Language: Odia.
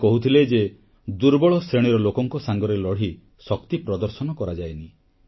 ସେ କହୁଥିଲେ ଯେ ଦୁର୍ବଳ ଶ୍ରେଣୀର ଲୋକଙ୍କ ସାଙ୍ଗରେ ଲଢ଼ି ଶକ୍ତି ପ୍ରଦର୍ଶନ କରାଯାଏନି